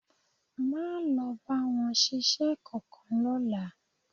Máa lọ bá wọn ṣiṣẹ́ kankan lọ́la